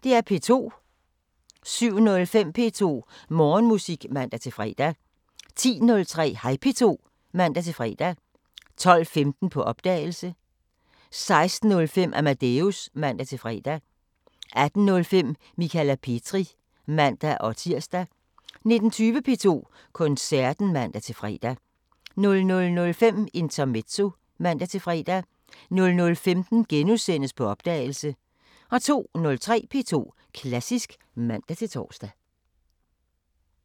07:05: P2 Morgenmusik (man-fre) 10:03: Hej P2 (man-fre) 12:15: På opdagelse 16:05: Amadeus (man-fre) 18:05: Michala Petri (man-tir) 19:20: P2 Koncerten (man-fre) 00:05: Intermezzo (man-fre) 00:15: På opdagelse * 02:03: P2 Klassisk (man-tor)